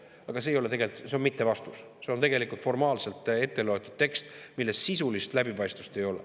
Aga see ei ole tegelikult vastus, see on mittevastus, see on formaalselt ette loetud tekst, milles sisulist läbipaistvust ei ole.